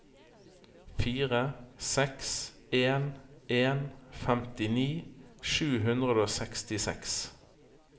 fire seks en en femtini sju hundre og sekstiseks